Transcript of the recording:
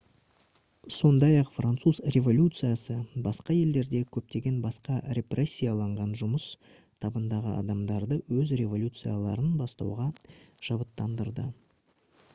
сондай-ақ француз революциясы басқа елдердегі көптеген басқа репрессияланған жұмыс табындағы адамдарды өз революцияларын бастауға шабыттандырды